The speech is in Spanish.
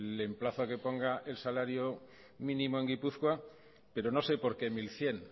le emplazo a que ponga el salario mínimo en gipuzkoa pero no sé porqué mil cien